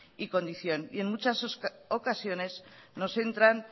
y condición y en muchas ocasiones nos entran